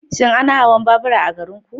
Shin ana hawan babura a garinku?